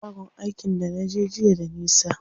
Shagon aikin da naje jiya da nisa.